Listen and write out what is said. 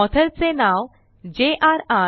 Authorचे नाव jrर